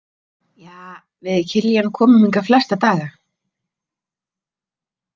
Ja, við Kiljan komum hingað flesta daga.